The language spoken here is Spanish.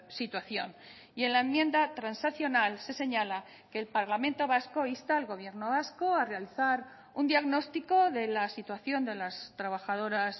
situación y en la enmienda transaccional se señala que el parlamento vasco insta al gobierno vasco a realizar un diagnóstico de la situación de las trabajadoras